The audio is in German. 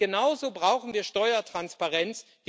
Und genauso brauchen wir Steuertransparenz.